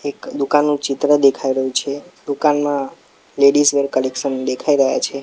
એક દુકાનનું ચિત્ર દેખાઈ રહ્યુ છે દુકાન માં લેડીઝવેર કલેક્શન દેખાઈ રહ્યા છે.